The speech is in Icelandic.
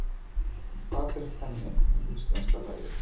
En hvað finnst henni um íslenska lagið?